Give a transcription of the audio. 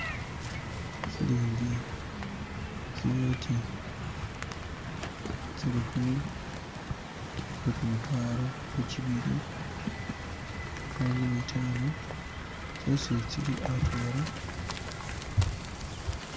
Silingi, zinyoti ze lukumi, lwegumutwalo, lojibili, lwankumitano, zotsi tsili atwala